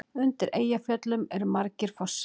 Undir Eyjafjöllum eru margir fossar.